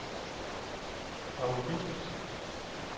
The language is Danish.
Paw Husted